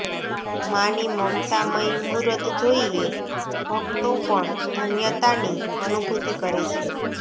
માની મમતામયી મૂરત જોઇએ ભક્તો પણ ધન્યતાની અનૂભૂતિ કરે છે